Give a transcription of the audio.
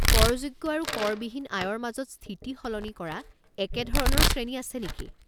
কৰযোগ্য আৰু কৰ বিহীন আয়ৰ মাজত স্থিতি সলনি কৰা একে ধৰণৰ শ্ৰেণী আছে নেকি?